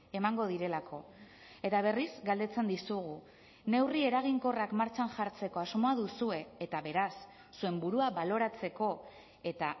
emango direlako eta berriz galdetzen dizugu neurri eraginkorrak martxan jartzeko asmoa duzue eta beraz zuen burua baloratzeko eta